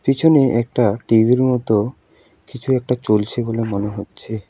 পেছনে একটা টি_ভি -এর মত কিছু একটা চলছে বলে মনে হচ্ছে।